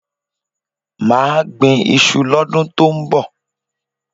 Má gbín iṣu lọ́dún tọ́ ń bọ̀.